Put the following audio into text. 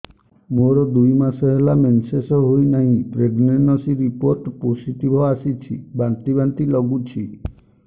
ମୋର ଦୁଇ ମାସ ହେଲା ମେନ୍ସେସ ହୋଇନାହିଁ ପ୍ରେଗନେନସି ରିପୋର୍ଟ ପୋସିଟିଭ ଆସିଛି ବାନ୍ତି ବାନ୍ତି ଲଗୁଛି